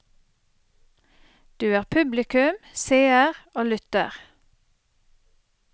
Du er publikum, seer og lytter.